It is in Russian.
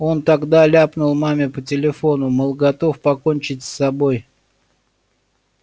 он тогда ляпнул маме по телефону мол готов покончить с собой